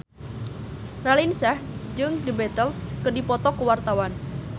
Raline Shah jeung The Beatles keur dipoto ku wartawan